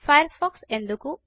fire pox ఎందుకు